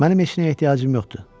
Mənim heç nəyə ehtiyacım yoxdur.